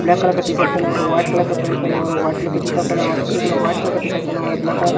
black colour का T shirt पहना और वाइट कलर का पेंट पहना और वाइट कलर का जूता पहना और एक ने वाइट कलर का टीशर्ट पहना और ब्लैक कलर का --